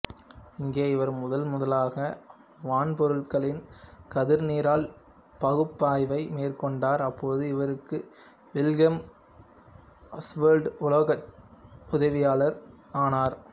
இங்கே இவர் முதன்முதலாக வான்பொருள்களின் கதிர்நிரல் பகுப்பாய்வை மேற்கொண்டார் அப்போது இவருக்கு வில்கெல்ம் ஆசுவால்டு உலோக்சே உதவியாளர் ஆனார்